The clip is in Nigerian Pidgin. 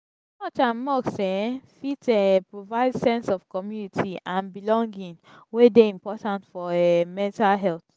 church and mosque um fit um provide sense of community and belonging wey dey important for um mental health.